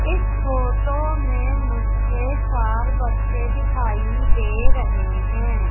इस फोटो में मुझे चार बच्चे दिखाई दे रहे हैं।